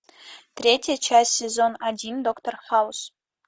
третья часть сезон один доктор хаус